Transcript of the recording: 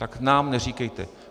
Tak nám neříkejte.